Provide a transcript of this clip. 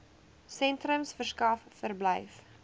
sentrums verskaf verblyf